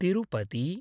Tirupati